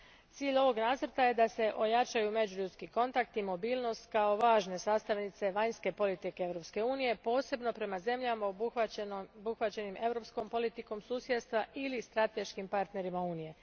Cilj ovog nacrta je da se ojačaju međuljudski kontakti i mobilnost kao važne sastavnice vanjske politike Europske unije, posebno prema zemljama obuhvaćenim Europskom politikom susjedstva ili strateškim partnerima Unije.